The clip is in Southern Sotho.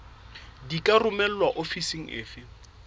di ka romelwa ofising efe